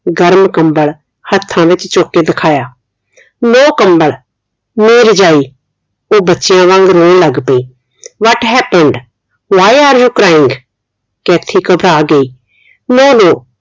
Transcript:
ਗਰਮ ਕੰਬਲ ਹੱਥਾਂ ਵਿਚ ਚੁੱਕ ਕੇ ਦਿਖਾਇਆ no ਕੰਬਲ no ਰਜਾਈ ਉਹ ਬੱਚਿਆਂ ਵਾਂਗ ਰੌਣ ਲੱਗ ਪਈ what happened why are you crying Kathy ਘਬਰਾ ਗਈ no no